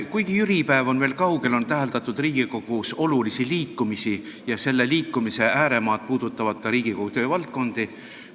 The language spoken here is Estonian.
Kuigi jüripäev on veel kaugel, on Riigikogus täheldatud olulisi liikumisi ja selle liikumise ääremaad puudutavad ka Riigikogu töövaldkondi.